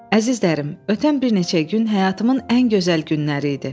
Əzizlərim, ötən bir neçə gün həyatımın ən gözəl günləri idi.